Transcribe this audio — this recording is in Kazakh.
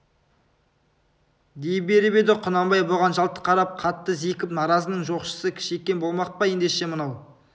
дей беріп еді құнанбай бұған жалт қарап қатты зекіп наразының жоқшысы кішекең болмақ па ендеше мынау